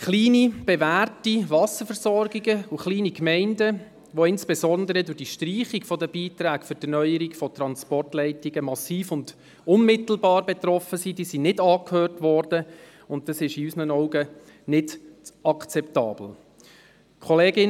Kleine bewährte Wasserversorgungen und kleine Gemeinden, die insbesondere durch die Streichung der Beiträge für die Erneuerung von Transportleistungen massiv und unmittelbar betroffen sind, wurden nicht angehört, was aus unserer Sicht nicht akzeptabel ist.